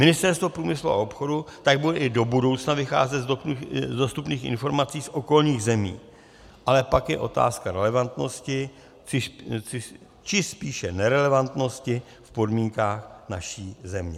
Ministerstvo průmyslu a obchodu tak bude i do budoucna vycházet z dostupných informací z okolních zemí, ale pak je otázka relevantnosti, či spíše nerelevantnosti v podmínkách naší země.